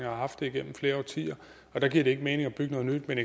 har haft det igennem flere årtier og der giver det ikke mening at bygge noget nyt men